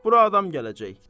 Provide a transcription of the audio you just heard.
Bura adam gələcək.